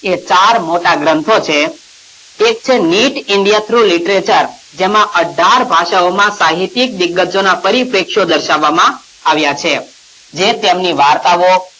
એ ચાર મોટા ગ્રંથો છે એક છે neet india through literature જેમાં અઢાર ભાષાઓમાં સાહિતિક વિગતોના પરિપ્રેક્ષો દર્શાવવામાં આવ્યાં છે જે તેમની વાર્તાઓ,